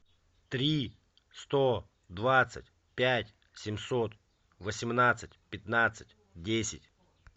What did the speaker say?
три сто двадцать пять семьсот восемнадцать пятнадцать десять